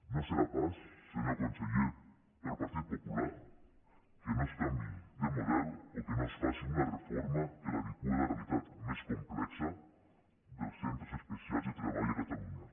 no serà pas senyor conseller pel partit popular que no es canviï de model o que no es faci una reforma que l’adeqüi a la realitat més complexa dels centres especials de treball a catalunya